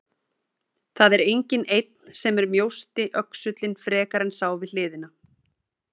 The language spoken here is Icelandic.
Það er enginn einn sem er mjósti öxullinn frekar en sá við hliðina.